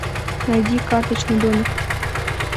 найди карточный домик